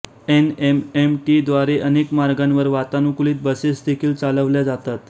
N M M T द्वारे अनेक मार्गांवर वातानुकुलित बसेस देखील चालवल्या जातात